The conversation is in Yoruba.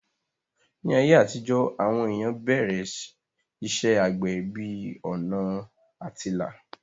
Ní ayé àtijó, àwọn èèyàn bẹ̀rẹ̀ iṣẹ́ àgbẹ̀ bí ọ̀nà àtilà